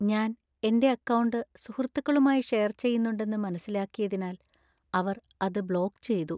ഞാൻ എന്‍റെ അക്കൗണ്ട് സുഹൃത്തുക്കളുമായി ഷെയർ ചെയ്യൂന്നുണ്ടെന്നു മനസിലാക്കിയതിനാൽ അവർ അത് ബ്ലോക്ക് ചെയ്തു.